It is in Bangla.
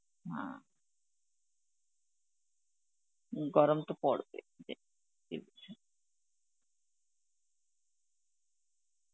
হা, গরম তো পড়বেই